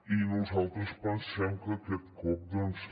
i nosaltres pensem que aquest cop doncs